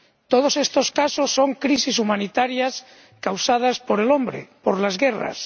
Todos estos casos son crisis humanitarias causadas por el hombre, por las guerras.